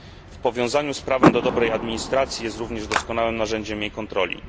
W powiązaniu z prawem do dobrej administracji jest również doskonałym narzędziem jej kontroli.